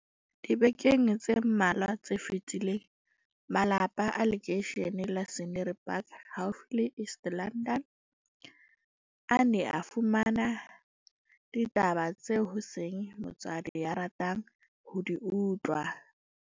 Dibekeng tse mmalwa tse fetileng, malapa a lekeishene la Scenery Park haufi le East London, a ne a fumane ditaba tseo ho seng motswadi ya ratang ho di utlwa.